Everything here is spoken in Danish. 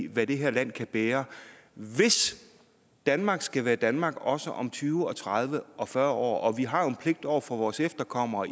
hvad det her land kan bære hvis danmark skal være danmark også om tyve tredive og fyrre år vi har jo en pligt over for vores efterkommere